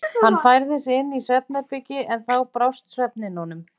Hann færði sig inn í svefnherbergi en þá brást svefninn honum.